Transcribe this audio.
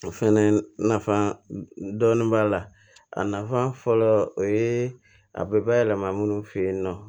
O fɛnɛ nafa dɔɔnin b'a la a nafa fɔlɔ o yee a bɛ bayɛlɛma minnu fɛ yen nɔ